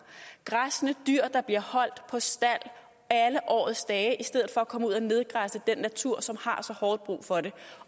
græssende dyr der bliver holdt på stald alle årets dage i stedet for at komme ud og nedgræsse den natur som har så hårdt brug for det